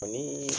Ani